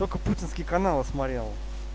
путинский канала смотрел